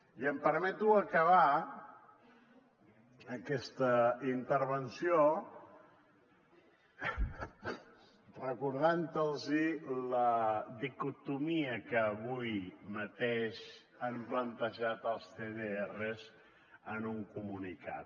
i em permeto acabar aquesta intervenció recordant los la dicotomia que avui mateix han plantejat els cdrs en un comunicat